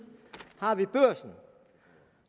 har vi børsen